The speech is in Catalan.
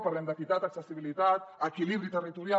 parlem d’equitat accessibilitat equilibri territorial